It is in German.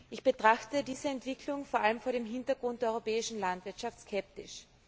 Ich betrachte diese Entwicklung vor allem vor dem Hintergrund der europäischen Landwirtschaft skeptisch.